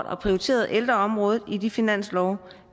har prioriteret ældreområdet i de finanslove